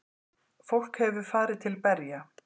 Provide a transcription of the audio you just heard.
Fólk hefur farið til berja.